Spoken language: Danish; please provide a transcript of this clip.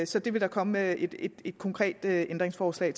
så det vil der komme et et konkret ændringsforslag